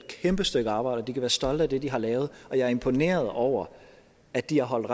kæmpe stykke arbejde de være stolte af det de har lavet og jeg er imponeret over at de har holdt